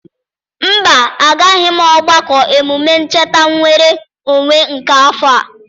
Mba, agaghị m ogbako emume ncheta nnwere onwe nke afọ a.